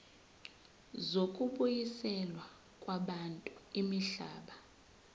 zokubuyiselwa kwabantu imihlaba